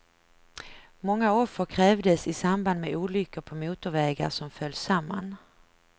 Många offer krävdes i samband med olyckor på motorvägar som föll samman.